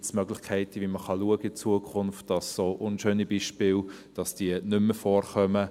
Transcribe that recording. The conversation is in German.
Gibt es Möglichkeiten, mit denen man schauen kann, dass solche unschönen Beispiele in Zukunft nicht mehr vorkommen?